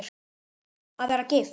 Að vera gift?